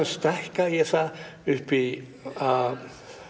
stækka ég það upp í a